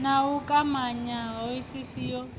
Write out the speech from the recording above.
na u kwamanya hoisiso ya